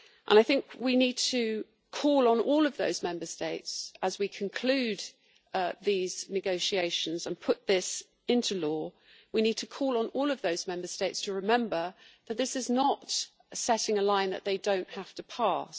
I think we need to call on all those Member States, as we conclude these negotiations and put this into law. We need to call on all of those Member States to remember that this does not constitute drawing a line which they do not have to pass.